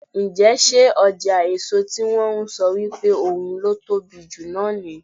Ǹjẹ́ ṣé ọjà èso tí wón ń sọ wípé ohun ló tóbi jù náà ní.